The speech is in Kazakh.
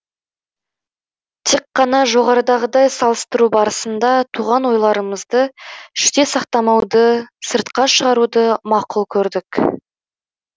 тек қана жоғарыдағыдай салыстыру барысында туған ойларымызды іште сақтамауды сыртқа шығаруды мақұл көрдік